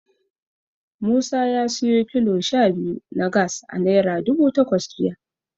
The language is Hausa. Musa ya siyo kilo sha biyu na Gas a Naira dubu takwas jiya.